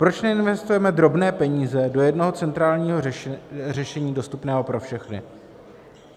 Proč neinvestujeme drobné peníze do jednoho centrálního řešení dostupného pro všechny?